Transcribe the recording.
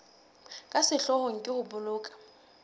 ka sehloohong ke ho boloka